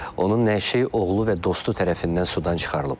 Onun nəşi oğlu və dostu tərəfindən sudan çıxarılıb.